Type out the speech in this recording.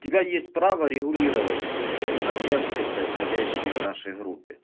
у тебя есть право регулировать моменты происходящие в нашей группе